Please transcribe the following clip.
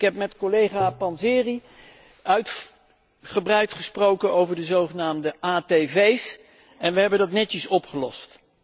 Ik heb met collega Panzeri uitgebreid gesproken over de zogenaamde atv's, en we hebben dat netjes opgelost.